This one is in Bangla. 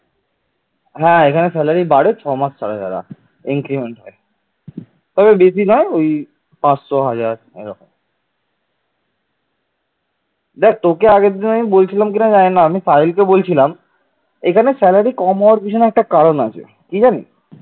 দেখ তোকে আমি আগের দিন বলছিলাম কিনা জানিনা আমি পায়েলকে বলছিলাম এখানে স্যালারি কম হওয়ার পিছনে একটা কারণ আছে ঠিক আছে